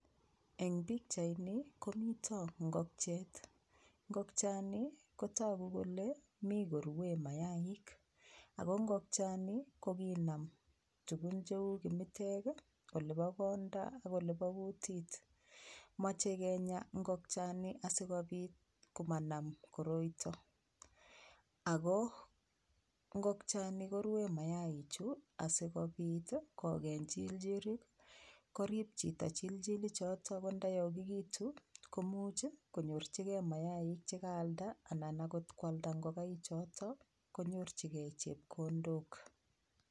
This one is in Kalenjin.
Eng pikchaini komito ngokchet ngokchani kotoku kole mi korue mayaik ako ngokchani kokinam tukun cheu kimitek olipo konda ak olipo kutit mochei kenya ngokchani asikopiit komanam koroito ako ngokchani korue mayaichu asikopit koekeny chilchilik korip chito chilchilichoto ko ndayokikitu komuch konyorchingei mayaik chekaalda anan akot koalda ngokaichoto konyorchingei chepkondok